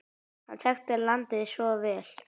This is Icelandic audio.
Hann þekkti landið svo vel.